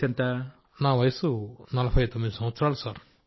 రాజేష్ ప్రజాపతి నా వయసు నలభై తొమ్మిదేళ్లు సార్